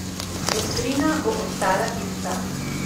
Doktrina bo ostala ista.